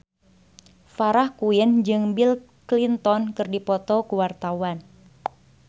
Farah Quinn jeung Bill Clinton keur dipoto ku wartawan